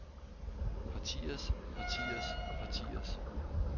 partiers partiers partiers